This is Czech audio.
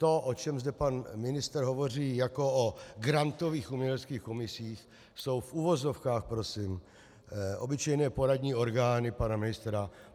To, o čem zde pan ministr hovoří jako o grantových uměleckých komisích, jsou v uvozovkách prosím obyčejné poradní orgány pana ministra.